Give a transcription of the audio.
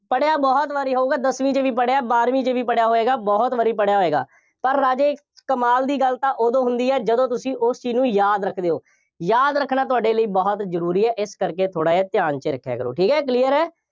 ਪੜ੍ਹਿਆ ਬਹੁਤ ਵਾਰੀ ਹੋਊਗਾ, ਦਸਵੀਂ ਚ ਵੀ ਪੜ੍ਹਿਆ, ਬਾਰਵੀਂ ਚ ਵੀ ਪੜ੍ਹਿਆ ਹੋਏਗਾ, ਬਹੁਤ ਵਾਰੀ ਪੜ੍ਹਿਆ ਹੋਏਗਾ, ਪਰ ਰਾਜੇ, ਕਮਾਲ ਦੀ ਗੱਲ ਤਾਂ ਉਦੋਂ ਹੁੰਦੀ ਹੈ ਜਦੋਂ ਤੁਸੀਂ ਉਸ ਚੀਜ਼ ਨੂੰ ਯਾਦ ਰੱਖਦੇ ਹੋ, ਯਾਦ ਰੱਖਣਾ ਤੁਹਾਡੇ ਲਈ ਬਹੁਤ ਜ਼ਰੂਰੀ ਹੈ, ਇਸ ਕਰਕੇ ਥੋੜ੍ਹਾ ਜਿਹਾ ਧਿਆਨ ਚ ਰੱਖਿਆ ਕਰੋ, ਠੀਕ ਹੈ, clear ਹੈ।